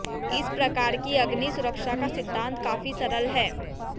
इस प्रकार की अग्नि सुरक्षा का सिद्धांत काफी सरल है